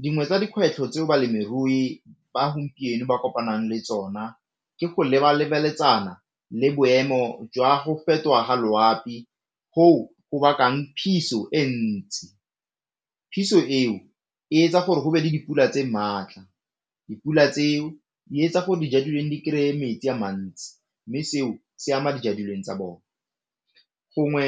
Dingwe tsa dikgwetlho tse balemirui ba gompieno ba kopanang le tsona ke go le boemo jwa go fetoga loapi go o bakang phiso e ntsi, phiso eo e etsa gore go be le dipula tse maatla, dipula tseo di etsa gore di kry-e metsi a mantsi mme seo se ama tsa bone gongwe